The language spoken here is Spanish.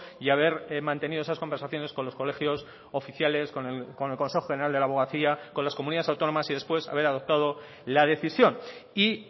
y haber mantenido esas conversaciones con los colegios oficiales con el consejo general de la abogacía con las comunidades autónomas y después haber adoptado la decisión y